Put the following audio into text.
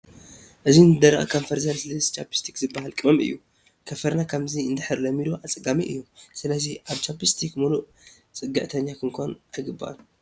እዚ ንዝደረቐ ከንፈር ዘልስልስ ቻፕስቲክ ዝበሃል ቅመም እዩ፡፡ ከንፈርና ከምዚ እንድሕር ለሚዱ ኣፀጋሚ እዩ፡፡ ስለዚ ኣብ ቻፕ ስቲክ ሙሉእ ፅግዕተኛ ክንኮን ኣይግባእን፡፡